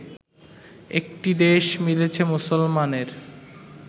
একটি দেশ মিলেছে মুসলমানের